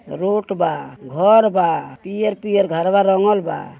Road बा घर बा पियर पियर घरबा रंगल बा।